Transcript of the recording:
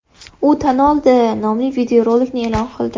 U tan oldi” nomli videorolikni e’lon qildi.